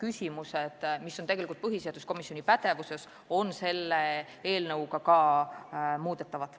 See on tegelikult põhiseaduskomisjoni pädevuses.